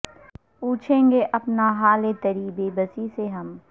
پوچھیں گے اپنا حال تری بے بسی سے ہم